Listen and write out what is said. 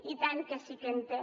i tant que sí que en té